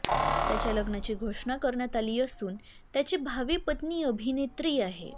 त्याच्या लग्नाची घोषणा करण्यात आली असून त्याची भावी पत्नी अभिनेत्री आहे